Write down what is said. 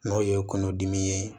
N'o ye kungo dimi ye